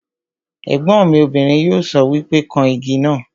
Ègbọ́n mi obìnrin yóò sọ wípé 'kan Igi náà '